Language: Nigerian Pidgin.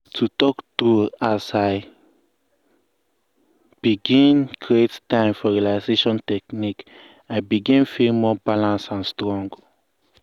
to talk true as i begin create time for relaxation technique i begin feel more balance and strong.